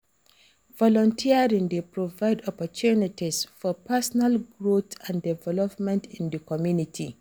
Volunteering dey provide opportunties for pesonal growth and development in di community.